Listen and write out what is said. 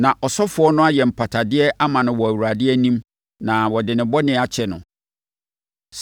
na ɔsɔfoɔ no ayɛ mpatadeɛ ama no wɔ Awurade anim na wɔde ne bɔne akyɛ no.